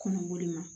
Kɔnɔboli ma